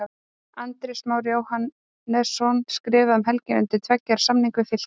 Andrés Már Jóhannesson skrifaði um helgina undir tveggja ára samning við Fylki.